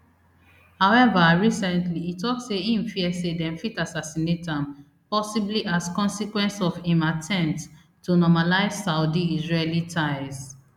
however recently e tok say im fear say dem fit assassinate am possibly as consequence of im attempts to normalise saudiisraeli ties